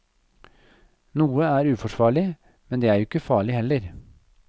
Noe er uforsvarlig, men det er jo ikke farlig heller.